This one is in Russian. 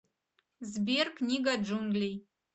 сбер книга джунглей